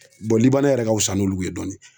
yɛrɛ ka wusa n'olu ye dɔɔnin.